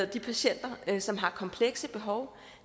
de patienter som har komplekse behov